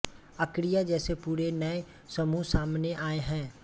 archaea जैसे पूरे नए समूह सामने आए हैं